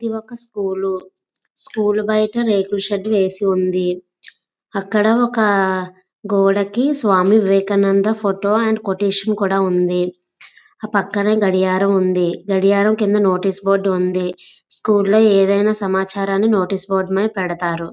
ఇది ఒక school school బయట రేకుల షెడ్ వేసివుంది అక్కడ ఒక గోడకి స్వామివివేకానంద ఫోటో అండ్ కొటేషన్ కూడా ఉంది అ పక్కనా గడియారం ఉంది గడియారం కింద నోటీసు బోర్డు ఉంది స్కూల్ లో ఏదైనా సమాచారాన్ని నోటీసు బోర్డు మీద పెడతారు.